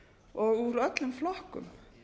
og úr öllum flokkum